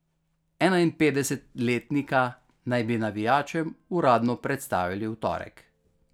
Enainpetdesetletnika naj bi navijačem uradno predstavili v torek.